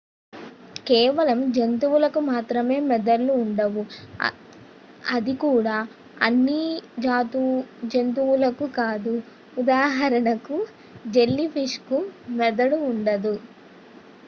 కేవలం జంతువులకు మాత్రమే మెదళ్ళు ఉంటాయి అది కూడా అన్ని జంతువులకు కాదు ఉదాహరణకు జెల్లీ ఫిష్కు మెదడు ఉండదు